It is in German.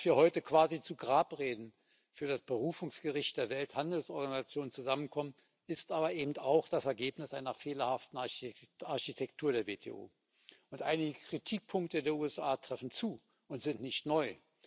Dass wir heute quasi zu Grabreden für das Berufungsgericht der Welthandelsorganisation zusammenkommen, ist aber eben auch das Ergebnis einer fehlerhaften Architektur der WTO, und einige Kritikpunkte der USA treffen zu und sind nicht neu.